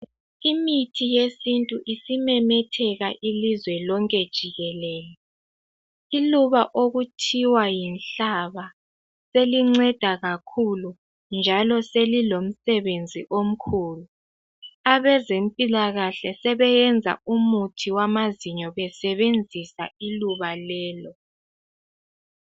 Imithi yesintu isimemetheka ilizwe lonke jikelele. Iluba okuthiwa yinhlaba selinceda kakhulu njalo selilomsebenzi omkhulu. Abezempilakahle sebesenza umuthi wamazinyo besebenzisa iluba lelo.